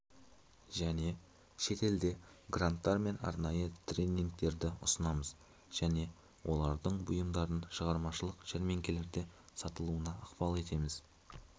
және шетелде гранттар мен арнайы тренингтерді ұсынамыз және олардың бұйымдарын шығармашылық жәрмеңкелерде сатылуына ықпал етеміз